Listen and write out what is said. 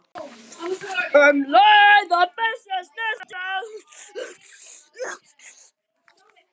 um leið og byssa snertir það.